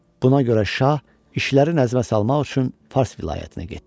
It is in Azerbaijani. Buna görə şah işləri nəzmə salmaq üçün fars vilayətinə getdi.